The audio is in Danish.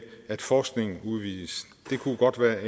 at forskningen udvides det kunne godt være